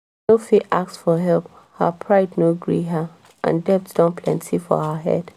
she no fit ask for help her pride no gree her and debt don plenti for her head